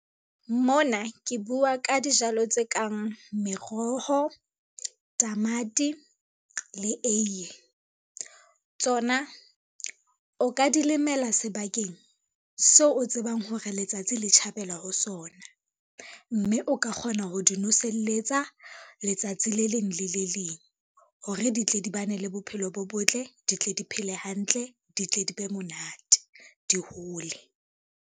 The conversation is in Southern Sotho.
Mona ke bua ka dijalo tse kang meroho, tamati le eiye. Tsona o ka di lemela sebakeng seo o tsebang hore letsatsi le tjhabela ho sona, mme o ka kgona ho di noselletsa letsatsi le leng le le leng, hore di tle di ba ne le bophelo bo botle, ditle di phele hantle, di tle di be monate di hole.